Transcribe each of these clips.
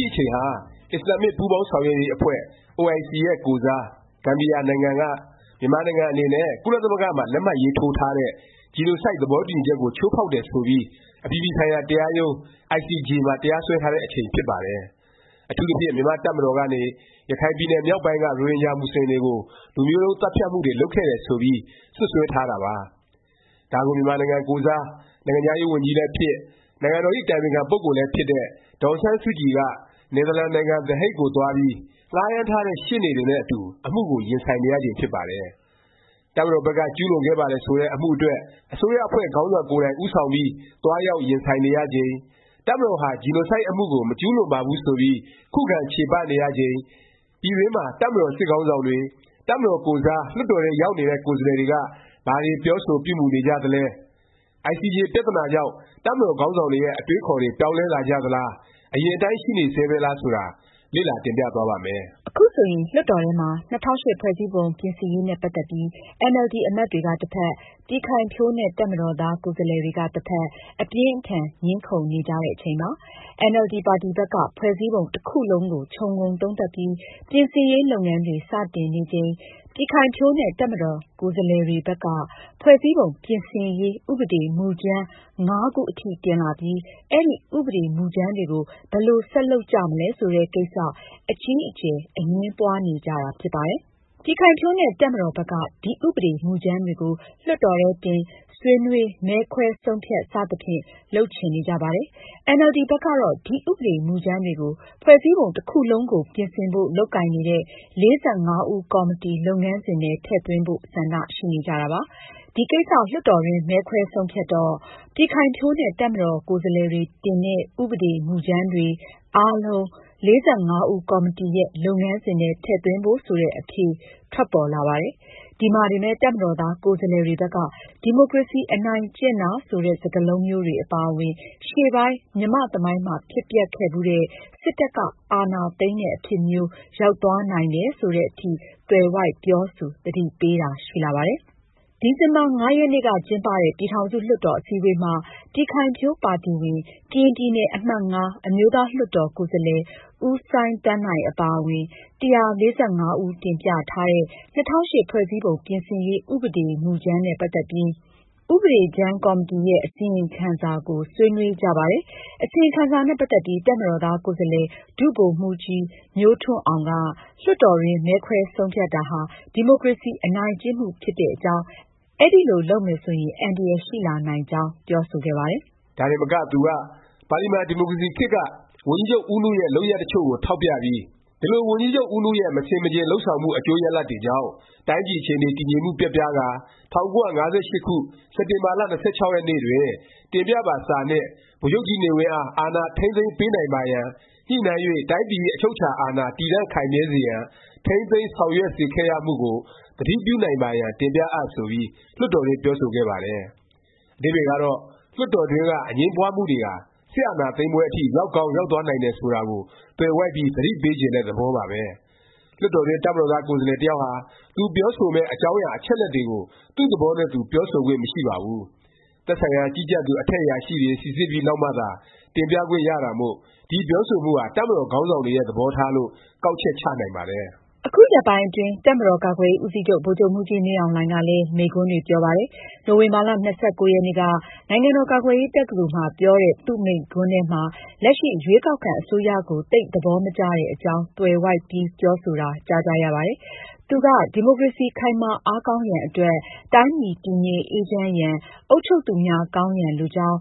ှိ အချိန်ဟာ အစ္စလာမ္မစ် ပူးပေါင်းဆောင်ရွက်ရေး အဖွဲ့ OIC ရဲ့ ကိုယ်စား ဂမ်ဘီယာ နိုင်ငံက မြန်မာနိုင်ငံ အနေနဲ့ ကုလသမဂ္ဂမှာ လက်မှတ်ရေးထိုးထားတဲ့ Genocide သဘောတူညီချက် ကို ချိုးဖေါက်တယ် ဆိုပြီး အပြည်ပြည်ဆိုင်ရာ တရားရုံး မှာ တရားစွဲထားတဲ့ အချိန် ဖြစ်ပါတယ်။ အထူးသဖြင့် မြန်မာ့ တပ်မတော်ကနေ ရခိုင်ပြည်နယ်မြောက်ပိုင်းက ရိုဟင်ဂျာ မူဆလင် တွေကို လူမျိုးတုန်း သတ်ဖြတ်မှုတွေ လုပ်ခဲ့တယ် ဆိုပြီး စွပ်စွဲ ထားတာပါ။ ဒါကို မြန်မာနိုင်ငံကိုယ်စား နိုင်ငံခြားရေး ဝန်ကြီးလည်းဖြစ်၊ နိုင်ငံတော်ဇ။် အတိုင်ပင်ခံ ပုဂ္ဂိုလ်လည်း ဖြစ်တဲ့ ဒေါ်အောင်ဆန်းစုကြည်က နယ်သာလန်နိုင်ငံ သည်ဟိတ် ကိုသွားပြီး ငှားရမ်းထားတဲ့ ရှေ့နေတွေနဲ့ အတူ အမှုကို ရင်ဆိုင်နေရချိန် ဖြစ်ပါတယ်။ တပ်မတော်ဘက်က ကျူးလွန်ခဲ့ပါတယ် ဆိုတဲ့ အမှုအတွက် အစိုးရအဖွဲ့ခေါင်းဆောင် ကိုယ်တိုင် ဦးဆောင်ပြီး သွားရောက် ရင်ဆိုင်နေရချိန်၊ တပ်မတော်ဟာ Genocide အမှုကို မကျူးလွန်ပါဘူး ဆိုပြီး ခုခံ ချေပနေရချိန် ပြည်တွင်းမှာ တပ်မတော် စစ်ခေါင်းဆောင်တွေ၊ တပ်မတော်ကိုယ်စား လွှတ်တော်ထဲ ရောက်နေတဲ့ ကိုယ်စားလှယ်တွေက ဘာတွေ ပြောဆို ပြုမူ နေကြသလဲ၊ ICJ ပြသနာကြောင့် တပ်မတော် ခေါင်းဆောင်တွေရဲ့ အတွေးအခေါ်တွေ ပြောင်းလဲ လာကြသလား၊ အရင်အတိုင်း ရှိနေဆဲပဲလား ဆိုတာ လေ့လာ တင်ပြသွားပါ့မယ်။ အခုဆိုရင် လွှတ်တော်ထဲမှာ ၂၀၀၈ ဖွဲ့စည်းပုံပြင်ရေး နဲ့ ပတ်သက်ပြီး အင်န်အယ်လ်ဒီ အမတ်တွေက တစ်ဖက်၊ ပြည်ခိုင်ဖြိုးနဲ့ တပ်မတော်သား ကိုယ်စားလှယ်တွေက တစ်ဖက် အပြင်းအထန် ငြင်းခုံနေကြတဲ့ အချိန်ပါ။ အင်န်အယ်လ်ဒီ ပါတီ ဘက်က ဖွဲ့စည်းပုံ တစ်ခုလုံးကို ခြုံငုံသုံးသပ်ပြီး ပြင်ဆင်ရေး လုပ်ငန်းတွေ စတင်နေချိန် ပြည်ခိုင်ဖြိုးနဲ့ တပ်မတော် ကိုယ်စားလှယ်တွေဘက်က ဖွဲ့စည်းပုံ ပြင်ဆင်ရေး ဥပဒေ မူကြမ်း ၅ ခု အထိ တင်လာပြီး အဲဒီ ဥပဒေမူကြမ်းတွေကို ဘယ်လို ဆက်လုပ်ကြမလဲ ဆိုတဲ့ကိစ္စ အကြီးအကျယ် အငြင်းပွားနေကြတာ ဖြစ်ပါတယ်။ ပြည်ခိုင်ဖြိုးနဲ့ တပ်မတော်ဘက်က ဒီ ဥပဒေ မူကြမ်းတွေကို လွှတ်တော်ထဲတင်၊ ဆွေးနွေး၊ မဲခွဲ ဆုံးဖြတ် စသဖြင့် လုပ်ချင်နေကြပါတယ်။ အင်န်အယ်လ်ဒီ ဘက်ကတော့ ဒီ ဥပဒေ မူကြမ်းတွေကို ဖွဲ့စည်းပုံ တစ်ခုလုံးကို ပြင်ဆင်ဖို့ လုပ်ကိုင်နေတဲ့ ၄၅ ဦးကော်မတီ လုပ်ငန်းစဉ်ထဲ ထည့်သွင်းဖို့ ဆန္ဒရှိနေကြတာပါ။ ဒီကိစ္စ လွှတ်တော်တွင်း မဲခွဲဆုံးဖြတ်တော့ ပြည်ခိုင်ဖြိုးနဲ့ တပ် ကိုယ်စားလှယ်တွေ တင်တဲ့ ဥပဒေကြမ်းတွေ အားလုံး ၄၅ ဦးကော်မတီရဲ့ လုပ်ငန်းစဉ်ထဲ ထည့်သွင်းဖို့ ဆိုတဲ့ အဖြေတွေ ထွက်ပေါ်လာပါတယ်။ ဒီမှာတင်ပဲ တပ်မတော်သား ကိုယ်စားလှယ်တွေဘက်က ဒီမိုကရေစီ အနိုင်ကျင့်တာ ဆိုတဲ့ စကားလုံးမျိုးတွေ အပါအဝင် ရှေ့ပိုင်း မြန်မာ့သမိုင်းမှာ ဖြစ်ပျက်ခဲ့ဖူးတဲ့ စစ်တပ်က အာဏာသိမ်းတဲ့ အဖြစ်မျိုး ရောက်သွားနိုင်တယ် ဆိုသည်အထိ သွယ်ဝိုက် ပြောဆို သတိပေးတာ ရှိလာပါတယ်။ ဒီဇင်ဘာ ၅ ရက်နေ့က ကျင်းပတဲ့ ပြည်ထောင်စု လွှတ်တော် အစည်းအဝေးမှာ ပြည်ခိုင်ဖြိုးပါတီဝင် ကရင်ပြည်နယ်အမှတ် အမျိုးသားလွှတ်တော် ကိုယ်စားလှယ် ဦးစိုင်းသန်းနိုင် အပါအဝင် ၁၄၅ ဦး တင်ပြထားတဲ့ ၂၀၀၈ ဖွဲ့စည်းပုံပြင်ရေး ဥပဒေကြမ်း နဲ့ ပတ်သက်ပြီး ဥပဒေကြမ်းကော်မတီရဲ့ အစီရင်ခံကို ဆွေးနွေးကြပါတယ်။ အစီရင်ခံစာနဲ့ ပတ်သက်ပြီး တပ်မတော်သား ကိုယ်စားလှယ် ဒုဗိုလ်မှူးကြီး မျိုးထွန်းအောင်က လွှတ်တော်တွင်း မဲခွဲ ဆုံးဖြတ်တာဟာ ဒီမိုကရေစီ အနိုင်ကျင့်မှု ဖြစ်တဲ့အကြောင်း၊ အဲလို လုပ်မယ် ဆိုရင် အန္တရာယ် ရှိလာနိုင်ကြောင်း ပြောဆိုခဲ့ပါတယ်။ ဒါတင်မက သူက ပါလီမန် ဒီမိုကရေစီခေတ်က ဝန်ကြီးချုပ် ဦးနုရဲ့ လုပ်ရပ် တစ်ချို့ကို ထောက်ပြပြီး “ဒီလို ဝန်ကြီးချုပ်ဦးနုရဲ့ မဆင်မခြင် လုပ်ဆောင်မှု အကျိုးရလာဒ်တွေကြောင့် တိုင်းပြည် အခြေအနေ တည်ငြိမ်မှု ပျက်ပြားကာ ၁၉၅၈ ခု၊ စက်တင်ဘာလ ၂၆ ရက်နေ့တွင် တင်ပြပါ စာနှင့် ဗိုလ်ချုပ်ကြီးနေဝင်းအား အာဏာ ထိန်းသိမ်းပေးနိုင်ပါရန် ညှိနှိုင်း၍ တိုင်းပြည်ဇ။် အချုပ်အခြာအာဏာ တည်တံ့ခိုင်မြဲစေရန် ထိန်းသိမ်း ဆောင်ရွက်စေခဲ့ရမှု ကို သတိပြုနိုင်ပါရန် တင်ပြအပ်။” ဆိုပြီး လွှတ်တော်တွင်း ပြောဆိုခဲ့ပါတယ်။ အဓိပ္ပါယ်ကတော့ လွှတ်တော်တွင်းက အငြင်းပွားမှုတွေဟာ စစ်အာဏာသိမ်းပွဲ အထိ ရောက်ကောင်း ရောက်သွားနိုင်တာကို သွယ်ဝိုက်ပြီး သတိပေးချင်တဲ့ သဘောပါပဲ။ လွှတ်တော်တွင်း တပ်မတော်သား ကိုယ်စားလှယ်တစ်ယောက်ဟာ သူပြောဆိုမယ့် အကြောင်းအရာ အချက်အလက်တွေကို သူ့သဘောနဲ့သူ ပြောဆိုခွင့်မရှိပါဘူး။ သက်ဆိုင်ရာ ကြီးကြပ်သူ အထက် အရာရှိတွေ စိစစ်ပြီး နောက်မှသာ တင်ပြခွင့်ရတာမို့ ဒီ ပြောဆိုမှုဟာ တပ်မတော်ခေါင်းဆောင်တွေရဲ့ သဘောထားလို့ ကောက်ချက်ချနိုင်ပါတယ်။ အခုရက်ပိုင်းအတွင်း တပ်မတော်ကာကွယ်ရေး ဦးစီးချုပ် ဗိုလ်ချုပ်မှူးကြီး မင်းအောင်လှိုင်ကလည်း မိန့်ခွန်းတွေ ပြောပါတယ်။ နိုဝင်ဘာ ၂၉ ရက်နေ့က နိုင်ငံတော် ကာကွယ်ရေး တက္ကသိုလ်မှာ ပြောတဲ့ သူ့မိန့်ခွန်းထဲမှာ လက်ရှိ ရွေးကောက်ခံ အစိုးရကို သိပ် သဘောမကျတဲ့အကြောင်း သွယ်ဝိုက်ပြီး ပြောဆိုတာ ကြားကြရပါတယ်။ သူက “ဒီမိုကရေစီ ခိုင်မာအားကောင်းရန် အတွက် တိုင်းပြည်တည်ငြိမ်အေးချမ်းရန်၊ အုပ်ချုပ်သူများ ကောင်းရန် လိုကြောင်း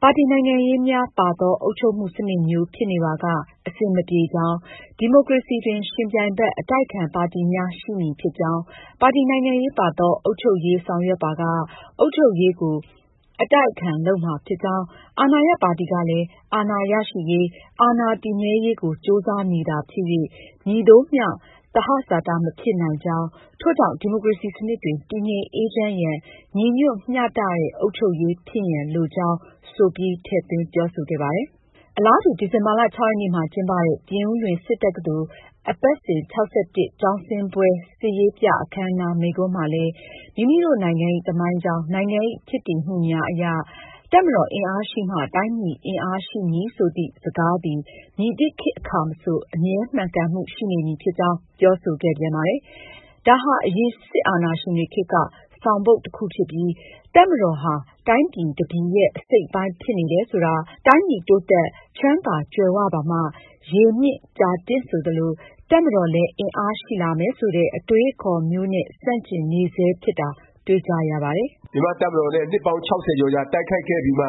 ၊ ပါတီနိုင်ငံရေးများ ပါသော အုပ်ချုပ်မှုစနစ်မျိုးဖြစ်နေပါက အဆင်မပြေကြောင်း၊ ဒီမိုကရေစီတွင် ယှဉ်ပြိုင်ဘက် အတိုက်အခံပါတီများ ရှိမည်ဖြစ်ကြောင်း၊ ပါတီနိုင်ငံရေးပါသော အုပ်ချုပ်ရေး ဆောင်ရွက်ပါက အုပ်ချုပ်ရေးကို အတိုက်အခံလုပ်မှာဖြစ်ကြောင်း၊ အာဏာရပါတီ ကလည်း အာဏာရရှိရေး၊ အာဏာတည်မြဲရေးကို ကြိုးစားမည်သာဖြစ်၍ မည်သို့မျှ သဟဇာတ မဖြစ်နိုင်ကြောင်း၊ ထို့ကြောင့် ဒီမိုကရေစီစနစ်တွင် တည်ငြိမ်အေးချမ်းရန်၊ ညီညွတ်မျှတသည့် အုပ်ချုပ်ရေးဖြစ်ရန်လိုကြောင်း၊” ဆိုပြီး ထည့်သွင်းပြောဆိုခဲ့ပါတယ်။ အလားတူ ဒီဇင်ဘာ ၆ ရက်နေ့မှာ ကျင်းပတဲ့ ပြင်ဦးလွင် စစ်တက္ကသိုလ် အပတ်စဉ် ၆၁ ကျောင်းဆင်းပွဲ စစ်ရေးပြ အခန်းအနား မိန့်ခွန်းမှာလည်း “မိမိတို့နိုင်ငံ၏ သမိုင်းကြောင်း၊ နိုင်ငံ၏ ဖြစ်တည်မှုများအရ “တပ်မတော်အင်အားရှိမှ တိုင်းပြည်အင်အား ရှိမည်” ဆိုသည့် စကားသည် မည်သည့်ခေတ် အခါမဆို အမြဲမှန်ကန်မှု ရှိနေမည်ဖြစ်ကြောင်း၊” ပြောဆိုခဲ့ပြန်ပါတယ်။ ဒါဟာ အရင် စစ်အာဏာရှင်တွေ ခေတ်က ဆောင်ပုဒ် တစ်ခုဖြစ်ပြီး တပ်မတော်ဟာ တိုင်းပြည် တစ်ပြည်ရဲ့ အစိတ်အပိုင်း ဖြစ်နေတယ် ဆိုတာ၊ တိုင်းပြည် တိုးတက်၊ချမ်းသာကြွယ်၀ ပါမှ ရေမြင့် ကြာတင့် ဆိုသလို တပ်မတော်လည်း အင်အားရှိလာမယ် ဆိုတဲ့ အတွေးအခေါ်မျိုးနဲ့ ဆန့်ကျင်နေဆဲ ဖြစ်တာ တွေ့ကြရပါတယ်။ မြန်မာ့တပ်မတော်နဲ့ နှစ်ပေါင်း၆၀ ကျော်ကြာ တိုက်ခိုက်ခဲ့ပြီးမှ တ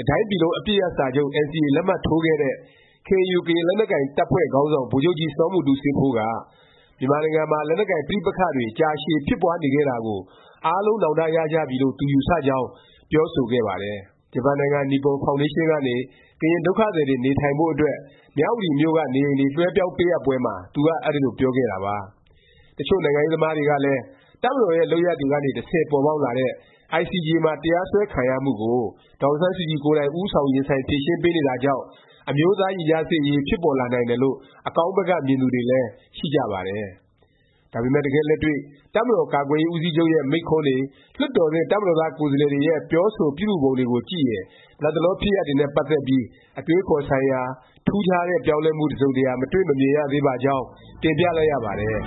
စ်တိုင်းပြည်လုံး အပစ်ရပ်စာချုပ် NCA လက်မှတ်ထိုးခဲ့တဲ့ KNU ကရင်တပ်ဖွဲ့ ခေါင်းဆောင် ဗိုလ်ချုပ်ကြီး စောမူတူးစေးဖိုးက မြန်မာနိုင်ငံမှာ လက်နက်ကိုင် ပဋိပက္ခတွေ ကြာရှည် ဖြစ်ပွားနေခဲ့တာကို အားလုံးနောင်တ ရကြပြီလို့ သူ ယူဆကြောင်း ပြောဆိုခဲ့ပါတယ်။ ဂျပန်နိုင်ငံ နိပွန်ဖေါင်ဒေးရှင်းကနေ ကရင် ဒုက္ခသည်တွေ နေထိုင်ဖို့ အတွက် မြဝတီမြို့က နေအိမ်တွေ လွဲှပြောင်းပေးအပ်ပွဲမှာ သူက အဲဒီလို ပြောခဲ့တာပါ။ တစ်ချို့နိုင်ငံရေး သမားတွေကလည်း တပ်မတော်ရဲ့ လုပ်ရပ်တွေကနေ တဆင့် ပေါ်ပေါက်လာတဲ့ ICJ မှာ တရားစွဲခံရမှုကို ဒေါ်အောင်ဆန်းစုကြည် ကိုယ်တိုင် ဦးဆောင် ရင်ဆိုင် ဖြေရှင်းပေးနေတာကြောင့် အမျိုးသားရင်ကြားစေ့ရေး ဖြစ်ပေါ်လာနိုင်တယ်လို့ အကောင်းဘက်က မြင်သူတွေလည်း ရှိကြပါတယ်။ ဒါပေမယ့် တကယ့်လက်တွေ့ တပ်မတော် ကာကွယ်ရေး ဦးစီးချုပ်ရဲ့ မိန့်ခွန်းတွေ၊ လွှတ်တော်တွင်း တပ်မတော်သား ကိုယ်စားလှယ်တွေရဲ့ ပြောဆိုပြုမူပုံတွေကို ကြည့်ရင် လတ်တလော ဖြစ်ရပ်တွေနဲ့ ပတ်သက်ပြီး အတွေးအခေါ် ဆိုင်ရာ ထူးခြားတဲ့၊ ပြောင်းလဲမှု တစ်စုံတစ်ရာ မတွေ့ မမြင်ရသေးပါကြောင်း တင်ပြလိုက်ရပါတယ်။